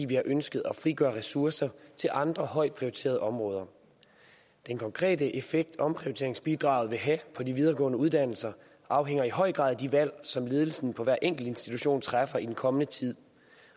vi ønsket at frigøre ressourcer til andre højt prioriterede områder den konkrete effekt som omprioriteringsbidraget vil have på de videregående uddannelser afhænger i høj grad af de valg som ledelsen på hver enkelt institution træffer i den kommende tid